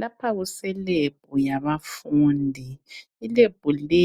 lapha kuse lab yabafundi i lab le